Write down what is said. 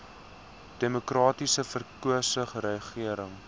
demokraties verkose regering